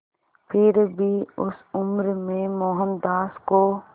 फिर भी उस उम्र में मोहनदास को